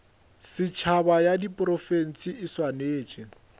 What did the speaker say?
setšhaba ya diprofense e swanetše